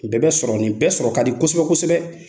O bɛɛ bɛ sɔrɔ, nin bɛɛ sɔrɔ ka di , kosɛbɛ kosɛbɛ.